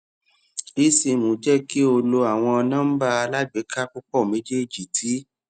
esim jẹ ki o lo awọn nọmba alagbeka pupọ mejeeji ti